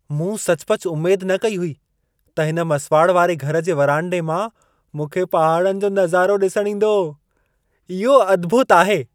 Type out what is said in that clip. मूं सचुपचु उमेद न कई हुई त हिन मसुवाड़ वारे घर जे वरांडे मां मूंखे पहाड़नि जो नज़ारो ॾिसण ईंदो। इहो अद्भुत आहे!